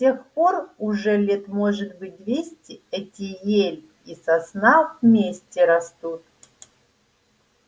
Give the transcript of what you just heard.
с тех пор уже лет может быть двести эти ель и сосна вместе растут